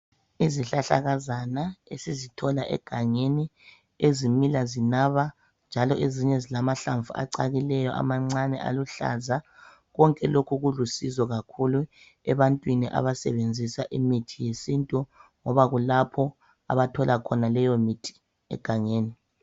Izihlahlakazana esizithola egangeni ezimila zinaba njalo ezinye zilamahlamvu acakileyo amancane aluhlaza konke lokhu kulusizo kakhulu ebantwini abasebenzisa imithi yesintu ngoba kulapho abathola khona leyomithi egangeni.